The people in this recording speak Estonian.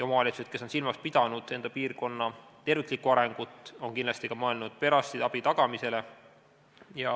Omavalitsused, kes on silmas pidanud enda piirkonna terviklikku arengut, on kindlasti ka mõelnud perearstiabi tagamisele.